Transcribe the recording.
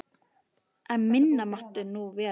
En minna mátti það nú vera.